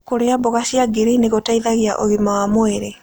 Kũrĩa mboga cia ngirini gũteĩthagĩa ũgima wa mwĩrĩ